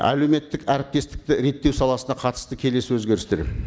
әлеуметтік әріптестікті реттеу саласына қатысты келесі өзгерістер